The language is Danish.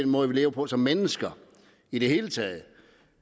måde vi lever på som mennesker i det hele taget